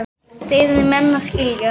Þetta yrðu menn að skilja.